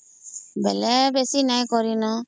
ବେଲେ ବେଶୀ ନାଇଁ କରିନ